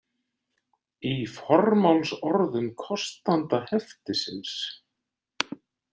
Í formálsorðum kostanda heftisins.